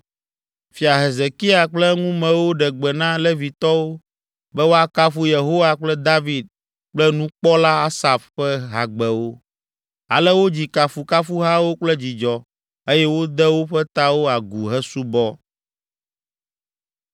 Fia Hezekia kple eŋumewo ɖe gbe na Levitɔwo be woakafu Yehowa kple David kple nukpɔla Asaf ƒe hagbewo. Ale wodzi kafukafuhawo kple dzidzɔ eye wode woƒe tawo agu hesubɔ.